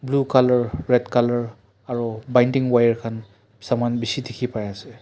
blue coulor red colour aro binding wire khan saman bishi dikhi pai ase.